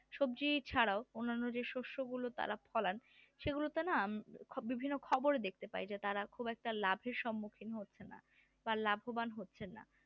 সবজি ছাড়াও অন্যান্য যে শস্য গুলি তারা ফলান সেগুলোতে না বিভিন্ন খবরে দেখতে পাই যে তারা খুব একটা লাভের সম্মুখীন হচ্ছে না বা লাভবান হচ্ছে না